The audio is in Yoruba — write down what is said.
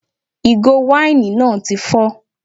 Ìgò wáìnì náà tí fọ